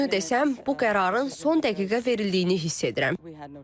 Düzünü desəm, bu qərarın son dəqiqə verildiyini hiss edirəm.